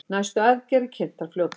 Næstu aðgerðir kynntar fljótlega